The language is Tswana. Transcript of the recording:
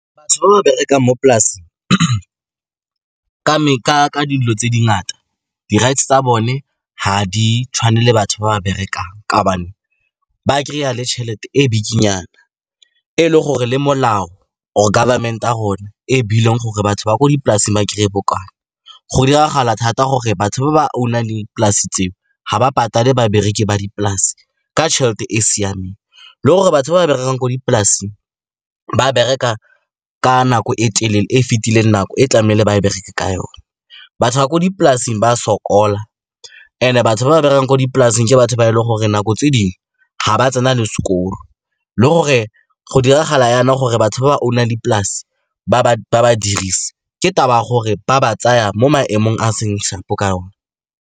Batho ba ba berekang mo polaseng ka dilo tse di ngata, di-rights tsa bone ga di tshwane le batho ba ba berekang ka gobane ba kry-a le tšhelete e bikinyana, e le gore le molao or government ya rona e e buileng gore batho ba ko dipolaseng ba kry-e bokae. Go diragala thata gore batho ba ba own-ang le polase tseo ga ba patale babereki ba dipolase ka tšhelete e e siameng, le gore batho ba ba berekang ko dipolaseng ba bereka ka nako e telele e fitileng nako e tlamehile ba bereke ka yone. Batho ba ko dipolaseng ba a sokola and-e batho ba ba berekang ko dipolaseng ke batho ba e leng gore nako tse dingwe ga ba tsena le sekolo. Le gore go diragala jaana gore batho ba ba own-ang dipolase ba ba dirise ke taba ya gore ba ba tsaya mo maemong a seng sharp-o ka one.